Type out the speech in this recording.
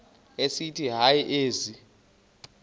esithi hayi ezi